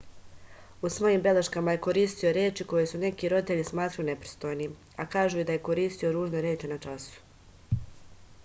u svojim beleškama je koristio reči koje su neki roditelji smatrali nepristojnim a kažu i da je koristio ružne reči na času